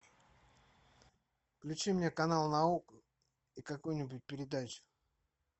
включи мне канал наука и какую нибудь передачу